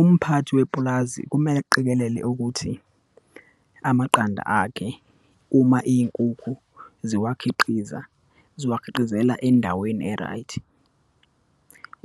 Umphathi wepulazi kumele aqikelele ukuthi amaqanda akhe, uma iyinkukhu ziwakhiqiza, ziwakhiqizela endaweni e-right,